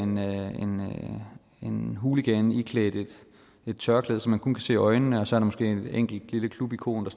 en hooligan iklædt et tørklæde så man kun kan se øjnene og så måske et enkelt lille klubikon